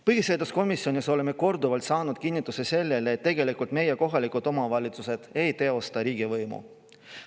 Põhiseaduskomisjonis oleme korduvalt saanud kinnitust, et meie kohalikud omavalitsused tegelikult ei teosta riigivõimu.